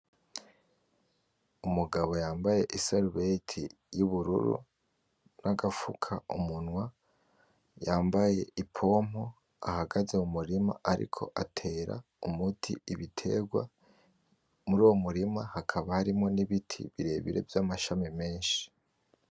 Umugabo yambaye isarubeti y'ubururu, n'agapfukamunwa, yambaye ipombo, ahagaze mu murima ariko atera umuti ibitegwa, muruwo murima hakaba harimwo n'ibiti birebire vy'amashami menshi.